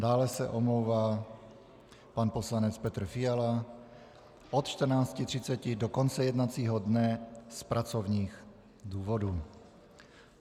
Dále se omlouvá pan poslanec Petr Fiala od 14.30 do konce jednacího dne z pracovních důvodů.